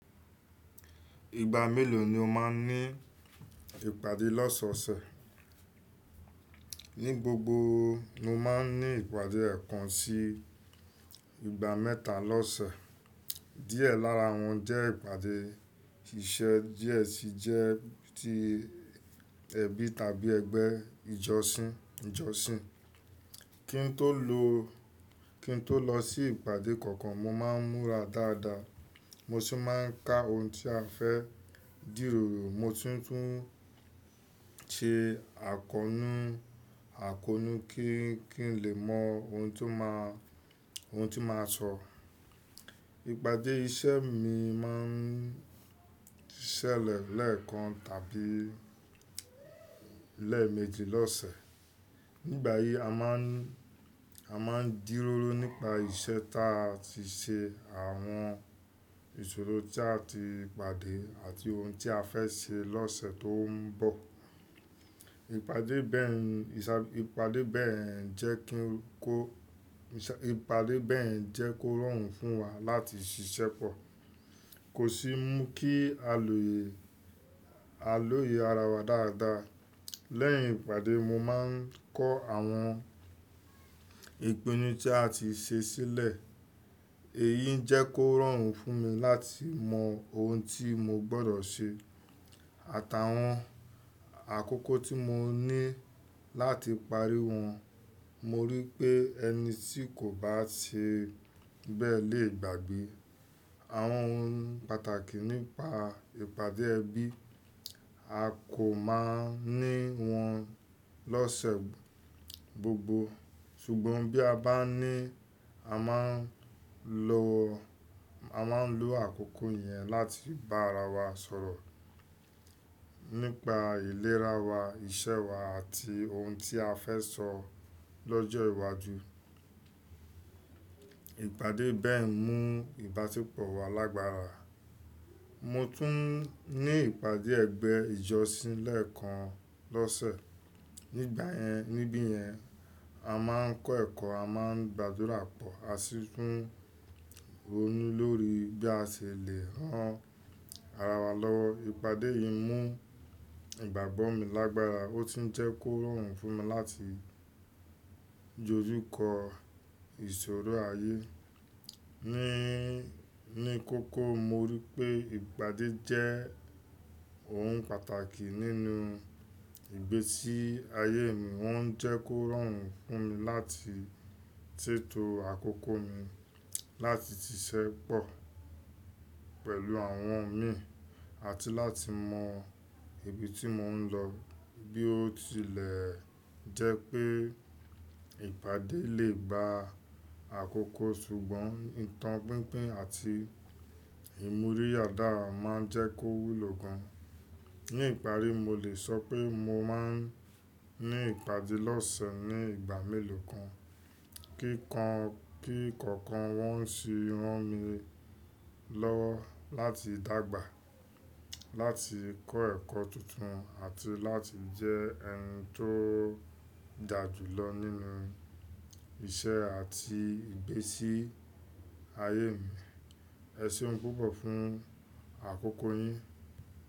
Ìgbà mélòó ni o máa ń ní ìpàdé lọ́sọ̀ọ̀sẹ̀? Ní gbogbo, mo máa ń ní ìpàdé ẹ̀ẹ̀kan sí ìgbà mẹ́ta lọ́sẹ̀. Díẹ̀ lára wọn jẹ́ ìpàdé iṣẹ́, díẹ̀ sì jẹ́ ti ẹbí tàbí ẹgbẹ́ ìjọsìn. Kí n tó lọ sí ìpàdé kankan, mo máa ń múra dáadáa, mo sì máa ń ka ohun tí a fẹ́ dìròrò. Mo tún tu ń ṣe àkóónú kí n lè mọ ohun tí màá sọ. Ìpàdé iṣẹ́ mi máa ń ṣẹlẹ̀ lẹ́ẹ̀kan tàbí lẹ́ẹ̀méje lọ́sẹ̀. Nígbà yìí, a máa ń díróró nípa iṣẹ́ tí a ti ṣe, àwọn ìṣòro tí a ti pàdé àti ohun tí a fẹ́ ṣe lọ́sẹ̀ tó ń bọ̀. Ìpàdé bẹ́ẹ̀ jẹ́ kó rọrùn fún wa láti ṣiṣẹ́pọ̀, kó sì mú kí á lòye ara wa dáadáa. Lẹ́yìn ìpàdé, mo máa ń kọ́ àwọn ìpinnu tí a ti ṣe sílẹ̀. Èyí ń jẹ́ kó rọrùn fún mi láti mọ ohun tí mo gbọ́dọ̀ ṣe àtàwọn àkókò tí mo ní láti parí wọn. Mo rí i pé ẹni tí kò bá ṣe bẹ́ẹ̀ lè gbàgbé. Àwọn ohun pàtàkì nípa ìpàdé ẹbí. A kò máa ń ní wọn lọ́sẹ̀ gbogbo, ṣùgbọ́n bí a bá ní, a máa ń lo àkókò yẹn láti bá ara wa sọ̀rọ̀ nípa ìlera wa, iṣẹ́ wa àti ohun tí a fẹ́ sọ lọ́jọ́ ìwájú. Ìpàdé bẹ́ẹ̀ mú ìbáṣepọ̀ wa lágbára. Mo tún ní ìpàdé ẹgbẹ́ ìjọsìn lẹ́ẹ̀kan lọ́sẹ̀. Níbi yẹn, a máa ń kọ́ ẹ̀kọ́, a máa ń gba àdúrà pọ̀, a sì tún ronú lórí bí a ṣe lè ran ara wa lọ́wọ́. Ìpàdé yìí mú ìgbàgbọ́ mi lágbára ó tuń jẹ́ kó rọrùn fún mi láti dojukó ìṣòro ayé mi. Ní kókó, mo rí i pé ìpàdé jẹ́ ohun pàtàkì nínú ìgbésí ayé mi. Wọ́n ń jẹ́ kó rọrùn fún mi láti tètò àkókò mi, láti ṣiṣẹ́pọ̀ pẹ̀lú àwọn mi àti láti mọ ibi tí mò ń lọ bí ó tilẹ̀ jẹ́ pé ìpàdé lè ba àkókò, ṣùgbọ́n ìtàn pínpín àti ìmúrí yàrá máa ń jẹ́ kó wúlò gan. Ní ìparí, mo lè sọ pé mo máa ń ní ìpàdé lọ́sẹ̀ ní ìgbà mélòó kan, kí kọ̀ọ̀kan wọn sì ran mi lọ́wọ́ láti dàgbà, láti kọ́ ẹ̀kọ́ tuntun àti láti jẹ́ ẹni tó dà jù lọ nínú iṣẹ́ àti ìgbésí ayé mi. Ẹ ṣeun púpọ̀ fún àkókò yín.